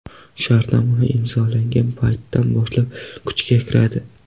Shartnoma imzolangan paytdan boshlab kuchga kiradi.